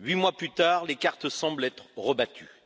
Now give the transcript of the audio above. Huit mois plus tard, les cartes semblent être rebattues.